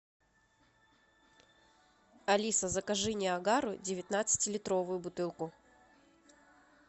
алиса закажи ниагару девятнадцати литровую бутылку